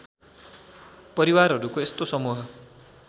परिवारहरूको यस्तो समूह